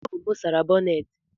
Ọ bụ m sara bonnet